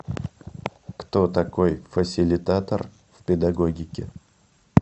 кто такой фасилитатор в педагогике